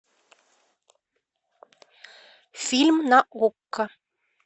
фильм на окко